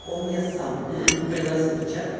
он меня сам пригласил в чат